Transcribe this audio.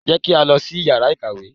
Jẹ́ kí á lọ sí yàrá ìkàwé!